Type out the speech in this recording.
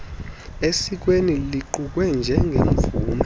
sesikweni luqukwe njengemvume